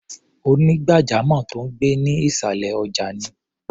Onígbàjamọ̀ tó ń gbé ní ìṣàlẹ̀ ọjà ni.